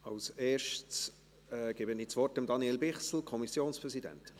Als Erstes gebe ich das Wort Daniel Bichsel, Kommissionspräsident.